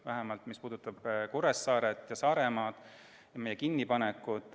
Vähemalt selles osas, mis puudutab Kuressaaret ja Saaremaad, meie kinnipanekut.